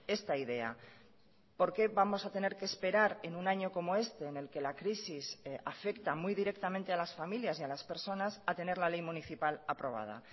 esta idea porque vamos a tener que esperar en un año como este en el que la crisis afecta muy directamente a las familias y a las personas a tener la ley municipal aprobada